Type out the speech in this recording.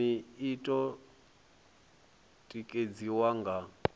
vhulimi i o tikedziwa nga